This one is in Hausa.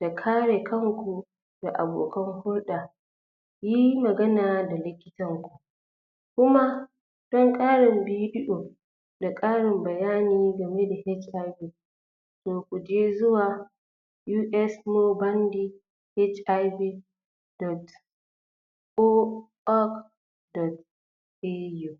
da kare kanku da abokan hulɗa yi magana da likitan ku kuma don ƙarin?? da ƙarin bayani game da HIV to kuje zuwa usmobandi hiv dot or org. video